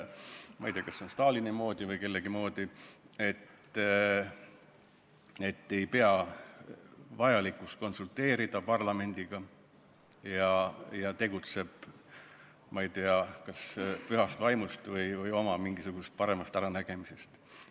Ma ei tea, kas see on Stalini moodi või kellegi teise moodi, et ei peeta vajalikuks konsulteerida parlamendiga ja tegutsetakse, ma ei tea, kas pühast vaimust või oma mingisuguse parema äranägemise järgi.